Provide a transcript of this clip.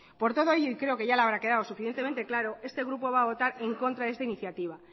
por todo ello y creo ya le habrá quedado suficientemente claro este grupo va a votar en contra de esta iniciativa